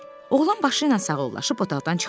Oğlan başı ilə sağollaşıb otaqdan çıxdı.